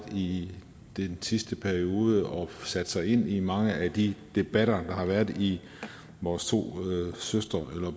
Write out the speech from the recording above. i den sidste periode og sat sig ind i mange af de debatter der har været i vores to søster eller